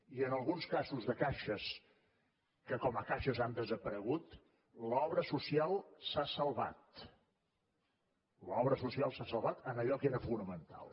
i en alguns casos de caixes que com a caixes han desaparegut l’obra social s’ha salvat l’obra social s’ha salvat en allò que era fonamental